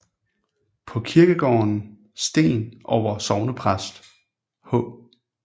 På kirkegården sten over sognepræst H